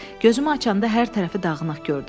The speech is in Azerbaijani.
Gözümü açanda hər tərəfi dağınıq gördüm.